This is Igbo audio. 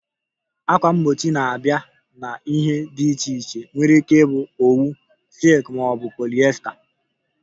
Ákwà mgbochi na-abịa na ihe dị iche iche nwere ike ịbụ owu, silk ma ọ bụ polyester